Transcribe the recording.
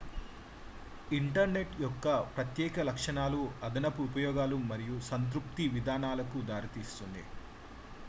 internet యొక్క ప్రత్యేక లక్షణాలు అదనపు ఉపయోగాలు మరియు సంతృప్తి విధానాలకు దారి తీస్తాయి